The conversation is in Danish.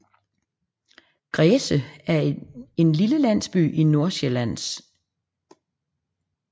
Græse er en lille landsby i Nordsjælland med